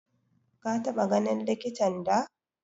Ka taɓa ganin likitan da?